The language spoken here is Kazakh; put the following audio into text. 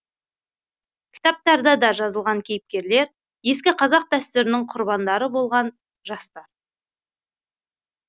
кітаптарда да жазылған кейіпкерлер ескі қазақ дәстүрінің құрбандары болған жастар